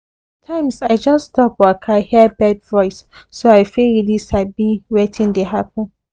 sometimes i just stop waka hear bird voice so i fit really sabi wetin dey happen